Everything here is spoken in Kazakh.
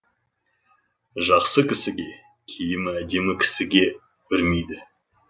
жақсы кісіге киімі әдемі кісіге үрмейді